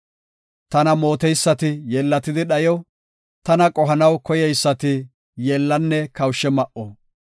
Tana mooteysati yeellatidi dhayo; Tana qohanaw koyeysati, yeellanne kawushe ma7o.